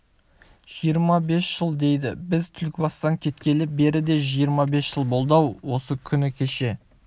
жиырма бес жыл дейді біз түлкібастан кеткелі бері де жиырма бес жыл болды-ау осы күні кеше